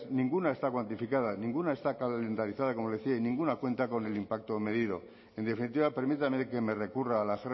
ninguna está cuantificada ninguna está calendarizada y como le decía y ninguna cuenta con el impacto medido en definitiva permítame que me recurra a la